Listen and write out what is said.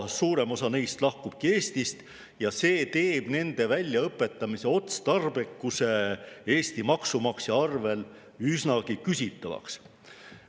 Suurem osa neist lahkub Eestist ja see teeb nende Eesti maksumaksja arvel väljaõpetamise otstarbekuse üsnagi küsitavaks.